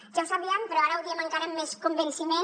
ja ho sabíem però ara ho diem encara amb més convenciment